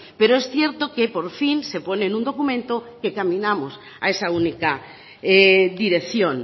pero es cierto que por fin se pone en un documento que caminamos a esa única dirección